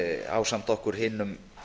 ásamt okkur hinum